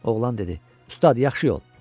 Oğlan dedi: Ustad, yaxşı yol.